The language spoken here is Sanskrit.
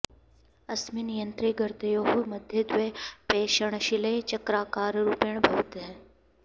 अस्मिन् यन्त्रे गर्तयोः मध्ये द्वे पेषणशिले चक्राकाररूपेण भवतः